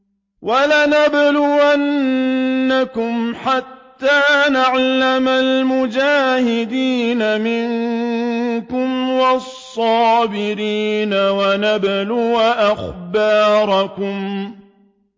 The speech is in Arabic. وَلَنَبْلُوَنَّكُمْ حَتَّىٰ نَعْلَمَ الْمُجَاهِدِينَ مِنكُمْ وَالصَّابِرِينَ وَنَبْلُوَ أَخْبَارَكُمْ